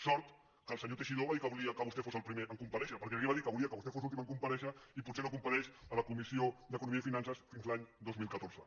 sort que el senyor teixidó va dir que volia que vostè fos el primer a comparèixer perquè aquí va dir que volia que vostè fos l’últim a comparèixer i potser no compareix a la comissió d’economia i finances fins l’any dos mil catorze